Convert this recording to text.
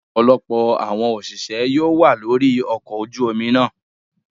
Ọ̀pọ̀lọpọ̀ àwọn òṣìṣẹ́ yóò wà lórí ọkọ ojú omi náà.